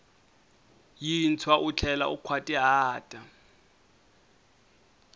yintshwa u tlhela u nkhwatihata